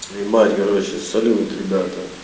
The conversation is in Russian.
снимать короче салют ребята